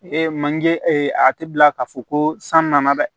manje a tɛ bila k'a fɔ ko san nana dɛ